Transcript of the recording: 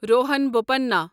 Rohan Bopanna